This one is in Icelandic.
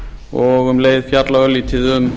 og um leið fjalla örlítið um